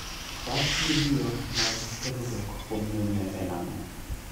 Rach vidio mag terruok kuom mine en ang'o?